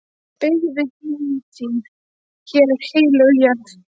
Beygðu hné þín, hér er heilög jörð.